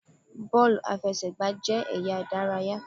Bọ́ọ̀lù àfẹsẹ̀gbá jẹ́ ẹ̀yà ìdárayá